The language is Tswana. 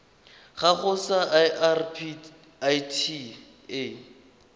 gago sa irp it a